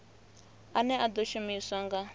ane a ḓo shumiswa nga